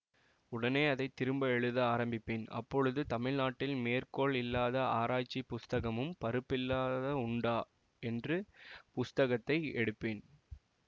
உடனே அதை திரும்ப எழுத ஆரம்பிப்பேன் அப்பொழுது தமிழ்நாட்டில் மேற்கோள் இல்லாத ஆராய்ச்சி புஸ்தகமும் பருப்பில்லாத உண்டா என்று புஸ்தகத்தை எடுப்பேன்